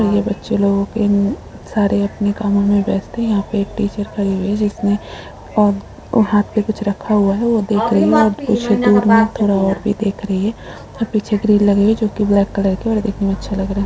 यहाँ बच्चे लोगो के अ सारे अपने कामो में व्यस्त हैं यहाँ पर एक टीचर खड़ी हुई हैं जिसमें औ हाथ में कुछ रखा हुआ हैं वह देख रही हैं कुछ दूर में थोड़ा और देख रही हैं पीछे ग्रिल लगी हुई हैं जो की ब्लैक कलर की हैं और देखने में अच्छा लग रहा हैं।